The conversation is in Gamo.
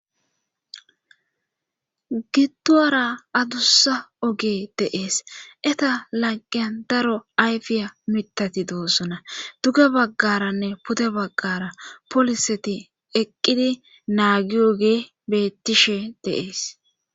Gitowara adussa oge deees eta laqian daro ayfiya mitati doosona duge baggaranne pude baggara poliseti eqqidi naagiyogee bettishe deees.